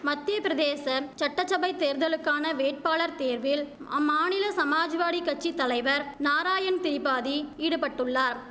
மத்தியபிரதேச சட்ட சபை தேர்தலுக்கான வேட்பாளர் தேர்வில் அம்மாநில சமாஜ்வாடி கட்சி தலைவர் நாராயண் திபாதி ஈடுபட்டுள்ளார்